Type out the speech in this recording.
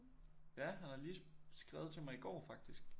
Ja han har lige skrevet til mig i går faktisk